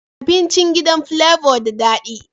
Abincin gidan flavor da dadi